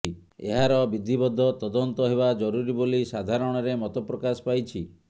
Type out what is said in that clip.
ଏହାର ବିଦ୍ଧିବଦ୍ଧ ତଦନ୍ତ ହେବା ଜରୁରୀ ବୋଲି ସାଧାରଣରେ ମତ ପ୍ରକାଶ ପାଇଛି